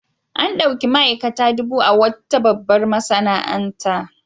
An ɗauki ma'aikata dubu a wata babbar masana'anta.